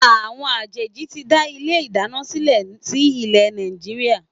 Àwọn àjèjì ti ń dá ilé ìdáná sílè sí ilé Nàìjíríà.